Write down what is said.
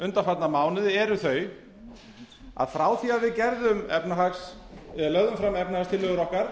undanfarna mánuði eru þau að frá því við lögðum fram efnahagstillögur okkar